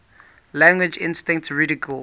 language instinct ridiculed